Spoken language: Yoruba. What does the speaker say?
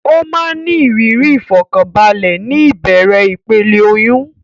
Ó máa ń ní ìrírí ìfọ̀kànbalẹ̀ ní ìbẹ̀rẹ̀ ìpele oyún.